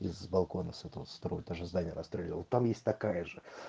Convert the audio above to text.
с балкона с этого со второго этажа здания расстреливал там есть такая же